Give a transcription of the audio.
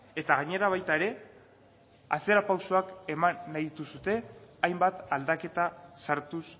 eta gainera baita ere atzera pausoak eman nahi dituzue hainbat aldaketa sartuz